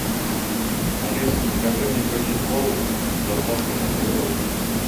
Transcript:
алиса закажи мне пепси колу с доставкой на дом